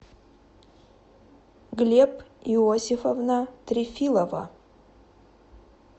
глеб иосифовна трефилова